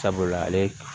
Sabula ale